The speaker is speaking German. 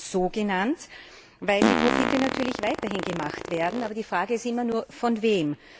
Ich sage sogenannt, weil die Profite natürlich weiterhin gemacht werden, die Frage ist immer nur Von wem?